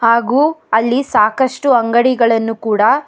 ಹಾಗು ಅಲ್ಲಿ ಸಾಕಷ್ಟು ಅಂಗಡಿಗಳನ್ನು ಕೂಡ--